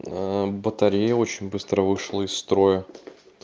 батарея очень быстро вышла из строя